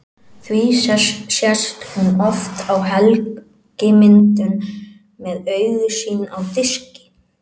Því sést hún oft á helgimyndum með augu sín á diski.